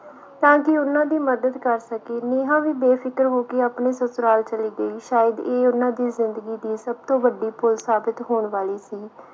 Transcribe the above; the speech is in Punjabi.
ਤਾਂ ਕਿ ਉਨ੍ਹਾਂ ਦੀ ਮਦਦ ਕਰ ਸਕੇ ਨੇਹਾ ਵੀ ਬੇਫਿਕਰ ਹੋ ਕੇ ਆਪਣੇ ਸਸੁਰਾਲ ਚਲੀ ਗਈ ਸ਼ਾਇਦ ਇਹ ਉਨ੍ਹਾਂ ਦੀ ਜਿੰਦਗੀ ਦੀ ਸਭ ਤੋਂ ਵੱਡੀ ਭੁੱਲ ਸਾਬਿਤ ਹੋਣ ਵਾਲੀ ਸੀ